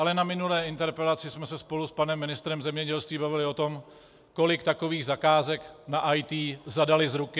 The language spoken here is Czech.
Ale na minulé interpelaci jsme se spolu s panem ministrem zemědělství bavili o tom, kolik takových zakázek na IT zadali z ruky.